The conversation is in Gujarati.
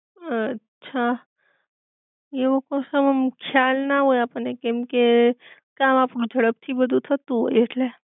અ છા, એવો કશો આમ ખ્યાલ ના હોય આપડ ને કેમકે કામ આપડું જડપ થી બધુ થતું હોય ઍટલે